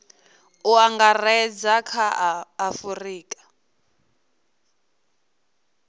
u angaredza kha a afurika